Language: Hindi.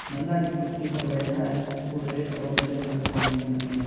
बंदा जिस कुर्सी पे बैठा है वो रेड और ब्लैक कलर कॉम्बिनेशन में है।